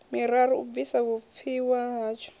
miraru u bvisa vhupfiwa hatsho